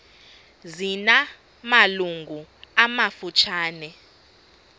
zina malungu amafutshane